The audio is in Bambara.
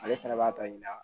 Ale fɛnɛ b'a tɔ ɲina